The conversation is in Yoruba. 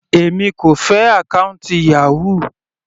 Èmi kò fẹ́ àkọ́ùntì Yahoo.